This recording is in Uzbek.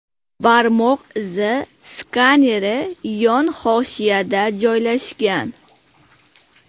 Barmoq izi skaneri yon hoshiyada joylashgan.